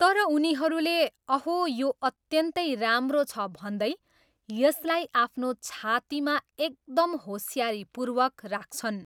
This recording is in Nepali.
तर उनीहरूले, अहो यो अत्यन्तै राम्रो छ भन्दै, यसलाई आफ्नो छातीमा एकदम होसियारीपूर्वक राख्छन्।